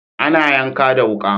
Ana yanka da wuka.